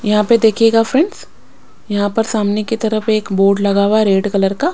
यहां पे देखिएगा फ्रेंड्स यहां पर सामने की तरफ एक बोर्ड लगा हुआ है रेड कलर का।